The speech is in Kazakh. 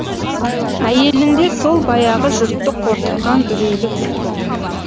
әйелінде сол баяғы жұртты қорқытқан үрейлі күлкі